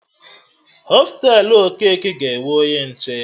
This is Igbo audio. Hostelu Okeke ga-enwe onye nche